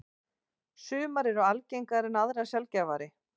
Sumar eru algengar en aðrar sjaldgæfari.